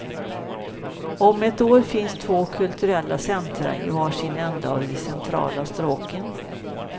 Om ett år finns två kulturella centra i var sin ände av de centrala stråken.